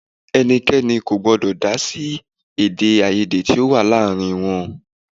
Ẹnikẹni kò gbọ́dọ̀ dá sí Èdè-áiyedé tó wá láàárín wọn.